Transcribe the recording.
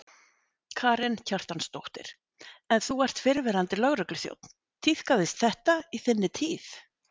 Karen Kjartansdóttir: En þú ert fyrrverandi lögregluþjónn, tíðkaðist þetta í þinni tíð?